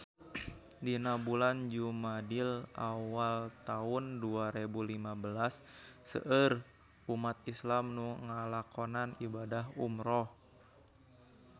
Dina bulan Jumadil awal taun dua rebu lima belas seueur umat islam nu ngalakonan ibadah umrah